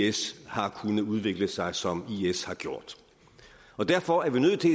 is har kunnet udvikle sig som is har gjort derfor er vi nødt til